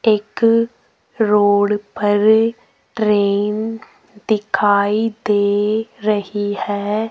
एक रोड पर ट्रेन दिखाई दे रही है।